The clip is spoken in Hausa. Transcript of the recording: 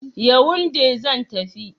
Yawunde zan tafi.